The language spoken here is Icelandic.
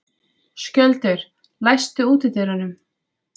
Skjöldur, læstu útidyrunum.